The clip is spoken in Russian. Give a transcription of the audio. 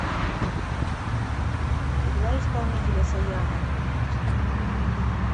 играй исполнителя сояна